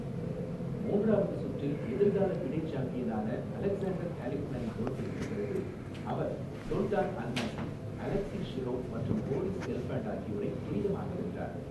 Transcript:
மூன்றாவது சுற்றில் எதிர்கால ஃபிடே சாம்பியனான அலெக்சாண்டர் கலிஃப்மேனைத் தோற்கடித்த பிறகு, அவர் சோல்டான் அல்மாசி, அலெக்ஸி ஷிரோவ் மற்றும் போரிஸ் கெல்ஃபாண்ட் ஆகியோரை துரிதமாக வென்றார்.